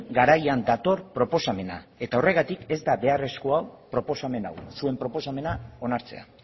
garaian dator proposamena eta horregatik ez da beharrezkoa proposamen hau zuen proposamena onartzea